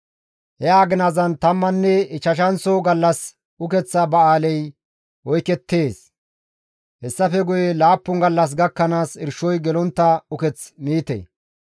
He aginazan tammanne ichchashanththo gallas ukeththa ba7aaley oykettees; hessafe guye laappun gallas gakkanaas irshoy gelontta uketh miite.